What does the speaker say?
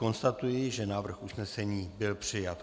Konstatuji, že návrh usnesení byl přijat.